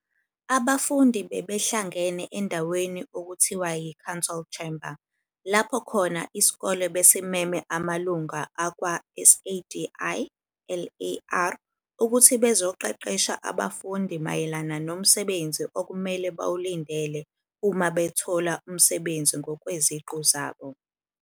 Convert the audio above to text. Abafundi bebehlangene endaweni okuthiwa yi-Council Chamber lapho khona iskole besimeme amalunga akwa SADiLaR ukuthi bezoqeqesha abafundi mayelana nomsebenzi okumele bawlindele uma bethola umsebenzi ngokweziqu zabo.